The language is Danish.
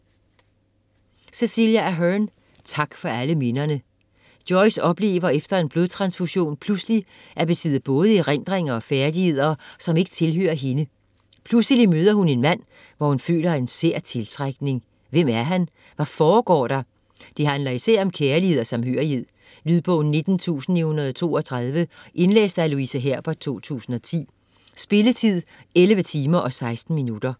Ahern, Cecelia: Tak for alle minderne Joyce oplever efter en blodtransfusion pludselig at besidde både erindringer og færdigheder, som ikke tilhører hende. Pludselig møder hun en mand, hvor hun føler en sær tiltrækning, hvem er han? Hvad foregår der? Det handler især om kærlighed og samhørighed. Lydbog 19932 Indlæst af Louise Herbert, 2010. Spilletid: 11 timer, 16 minutter.